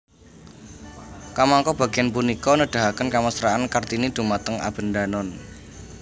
Kamangka bagéan punika nedahaken kamesraan Kartini dhumateng Abendanon